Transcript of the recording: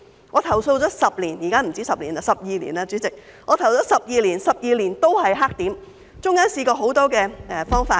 我投訴了10年——現在已不止10年，是12年，代理主席——我投訴了12年，但12年都仍是黑點，其間也試過很多方法。